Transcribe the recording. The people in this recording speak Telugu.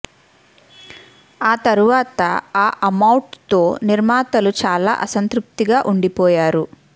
ఆ తరువాత ఆ అమౌట్ తో నిర్మతలు చాలా అసంతృప్తి గా వుండిపోయారు